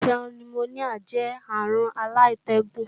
Àìsàn nimoníà jẹ́ àrùn alátẹ́gùn